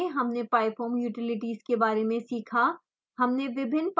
इस ट्यूटोरियल में हमने pyfoam utilities के बारे में सीखा